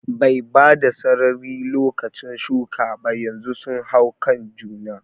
Bai bada sarari lokacin shuka ba, yanzu sun hau kan juna